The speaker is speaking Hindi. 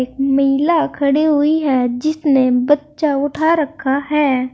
एक महिला खड़ी हुई है जिसने बच्चा उठा रखा है।